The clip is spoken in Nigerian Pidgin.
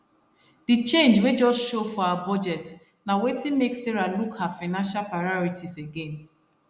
the change wey just show for her budget na wetin make sarah look her financial priorities again